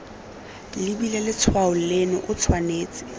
lebile letshwao leno o tshwanetse